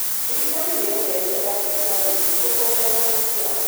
Thirikari nĩyongereire bajeti ya ũrĩmi nĩguo kuongerera maciaro.